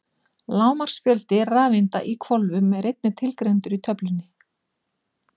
Hámarksfjöldi rafeinda í hvolfum er einnig tilgreindur í töflunni.